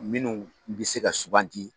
Minnu bɛ se ka subanti.